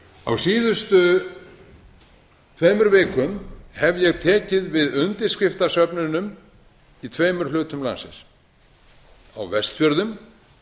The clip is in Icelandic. á síðustu tveimur vikum hef ég tekið við undirskriftasöfnunum í tveimur hlutum landsins á vestfjörðum